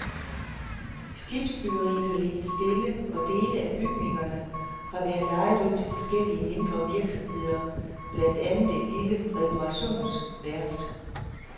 Skibsbyggeriet har ligget stille og dele af bygningerne har været lejet ud til forskellige mindre virksomheder, blandt andet et lille reparationsværft.